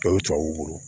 O ye tubabuw bolo